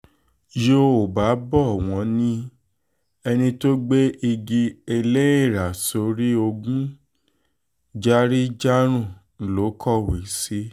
yọ́ọ́ba bò wọ́n ní ẹni tó gbé igi ẹlẹ́ẹ́ra sórí ogún járí-járùn ló kọ̀wé sí